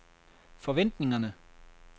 forventningerne